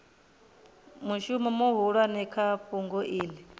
mushumo muhulwane kha fhungo iḽi